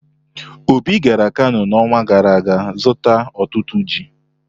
Obi gara Kano n'ọnwa gara aga zụta otutu ji.